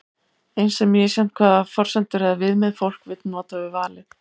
eins er misjafnt hvaða forsendur eða viðmið fólk vill nota við valið